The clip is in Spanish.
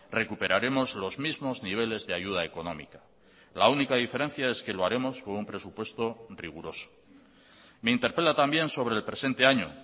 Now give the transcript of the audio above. recuperaremos los mismos niveles de ayuda económica la única diferencia es que lo haremos con un presupuesto riguroso me interpela también sobre el presente año